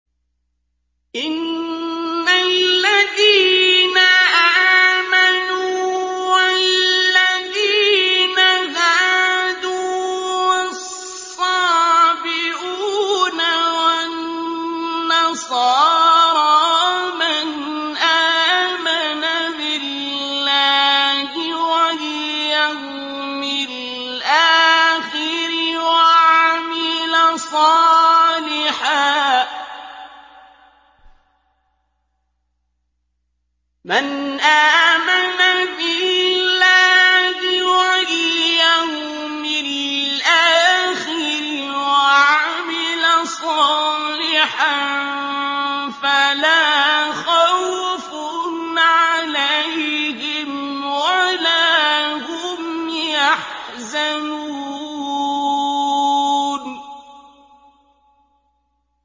إِنَّ الَّذِينَ آمَنُوا وَالَّذِينَ هَادُوا وَالصَّابِئُونَ وَالنَّصَارَىٰ مَنْ آمَنَ بِاللَّهِ وَالْيَوْمِ الْآخِرِ وَعَمِلَ صَالِحًا فَلَا خَوْفٌ عَلَيْهِمْ وَلَا هُمْ يَحْزَنُونَ